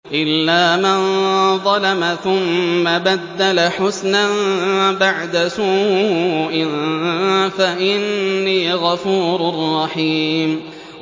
إِلَّا مَن ظَلَمَ ثُمَّ بَدَّلَ حُسْنًا بَعْدَ سُوءٍ فَإِنِّي غَفُورٌ رَّحِيمٌ